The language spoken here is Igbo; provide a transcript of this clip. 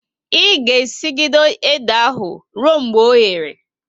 I ga e sigide ede ahu ruo mgbe oghere!